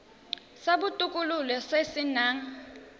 sa botokololo se se nang